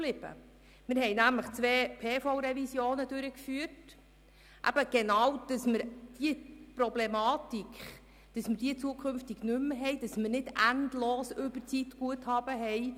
er führte zwei Revisionen der Personalverordnung vom 18. Mai 2005 (PV) durch, um diese Problematik zukünftig zu vermeiden und nicht mehr endlose Überzeitguthaben zu haben.